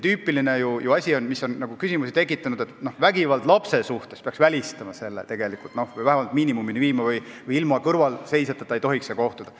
Tüüpiline asi, mis küsimusi tekitab, on see, kuidas vägivalda lapse suhtes välistada või seda vähemalt miinimumini viia ja kas laps ilma kõrvalseisjateta ei tohiks vanemaga kohtuda.